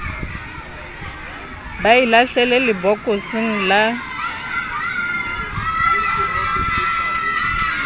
ba e lahlele lebokoseng la